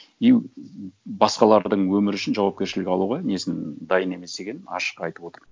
и басқалардың өмірі үшін жауапкершілік алуға несін дайын емес екенін ашық айтып отыр